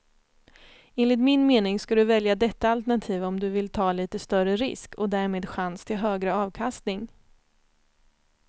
Enligt min mening ska du välja detta alternativ om du vill ta lite större risk och därmed chans till högre avkastning.